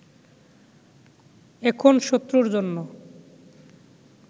এখন শত্রুর জন্য